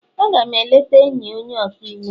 A ga m eleta enyi onye ọka iwu m